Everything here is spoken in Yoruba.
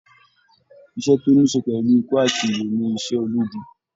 Iṣẹ́ tó ní ṣe pẹ̀lú ikú àti ìyè ni iṣẹ́ ológun